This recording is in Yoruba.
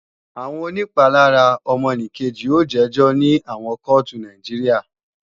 Àwọn onìpalára ọmọnìkejì ó jẹ́jọ́ ní àwọn kóòtù Nàìjíríà